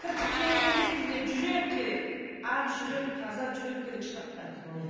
кірпік керек емес бізге жүрек керек ақ жүрек таза жүрек керек шырақтарым